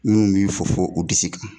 Min y'i fofo u disi kan